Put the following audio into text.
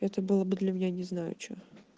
это было бы для меня не знаю что